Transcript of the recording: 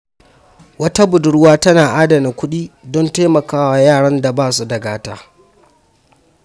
Wata budurwa tana adana kuɗi don taimaka wa yaran da ba su da gata.